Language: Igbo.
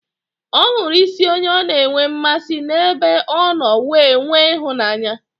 Ọ hụrụ isi onye ọ na enwe mmasị n'ebe ọ nọ wee nwee ịhụnanya